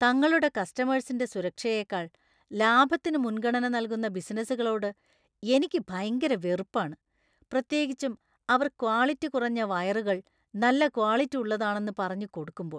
തങ്ങളുടെ കസ്റ്റമേഴ്‌സിന്റെ സുരക്ഷയേക്കാൾ ലാഭത്തിന് മുൻഗണന നൽകുന്ന ബിസിനസുകളോട് എനിക്ക് ഭയങ്കര വെറുപ്പാണ് , പ്രത്യേകിച്ചും അവർ ക്വാളിറ്റി കുറഞ്ഞ വയറുകൾ നല്ല ക്വാളിറ്റി ഉള്ളതാണെന്ന് പറഞ്ഞു കൊടുക്കുമ്പോൾ .